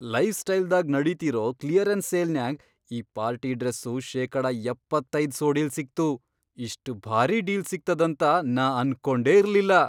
Life ಸ್ಟೈಲ್ದಾಗ್ ನಡೀತಿರೋ clearance ಸೇಲ್ನ್ಯಾಗ್, ಈ ಪಾರ್ಟಿ ಡ್ರೆಸ್ಸು ಶೇಕಡ ಎಪ್ಪತ್ತೈದ್ ಸೋಡಿಲ್ ಸಿಗ್ತು, ಇಷ್ಟ್ ಭಾರೀ ಡೀಲ್ ಸಿಗ್ತದಂತ ನಾ ಅನ್ಕೊಂಡೇ ಇರ್ಲಿಲ್ಲ.